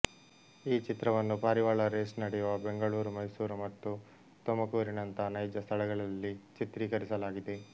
ಈ ಚಿತ್ರವನ್ನು ಪಾರಿವಾಳ ರೇಸ್ ನಡೆಯುವ ಬೆಂಗಳೂರು ಮೈಸೂರು ಮತ್ತು ತುಮಕೂರಿನಂತ ನೈಜ ಸ್ಥಳಗಳಲ್ಲಿ ಚಿತ್ರೀಕರಿಸಲಾಗಿದೆ